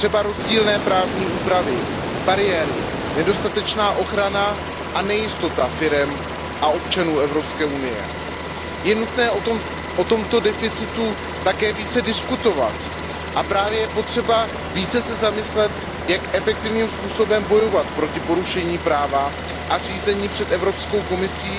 Třeba rozdílné právní úpravy, bariéry, nedostatečná ochrana a nejistota firem a občanů Evropské unie. Je nutné o tomto deficitu také více diskutovat a je potřeba více se zamyslet, jak efektivním způsobem bojovat proti porušování práva a řízením před Evropskou komisí